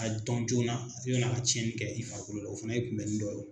a dɔn joona yann'a ka tiyɛnni kɛ i farikolo la o fana ye kunbɛnni dɔ ye.